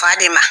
Ba de ma